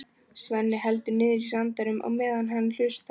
Svenni heldur niðri í sér andanum á meðan hann hlustar.